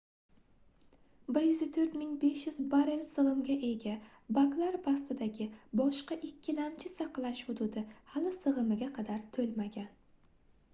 104 500 barell sigʻimga ega baklar pastidagi boshqa ikkilamchi saqlash hududi hali sigʻimiga qadar toʻlmagan